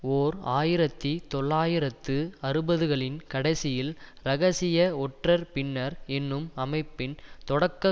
ஓர் ஆயிரத்தி தொள்ளாயிரத்து அறுபதுகளின் கடைசியில் இரகசிய ஒற்றர் பின்னர் என்னும் அமைப்பின் தொடக்க